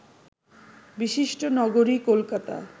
বিশিষ্ট নগরী কলকতা